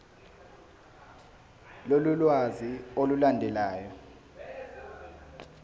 lolu lwazi olulandelayo